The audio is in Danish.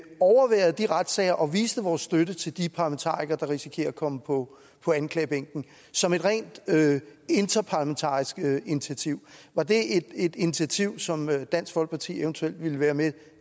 overværede de retssager og viste vores støtte til de parlamentarikere der risikerer at komme på anklagebænken som et rent interparlamentarisk initiativ var det et initiativ som dansk folkeparti eventuelt ville være med